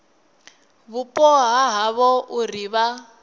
vhupo ha havho uri vha